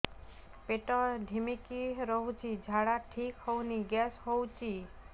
ପେଟ ଢିମିକି ରହୁଛି ଝାଡା ଠିକ୍ ହଉନି ଗ୍ୟାସ ହଉଚି